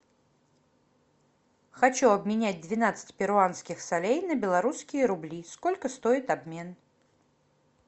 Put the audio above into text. хочу обменять двенадцать перуанских солей на белорусские рубли сколько стоит обмен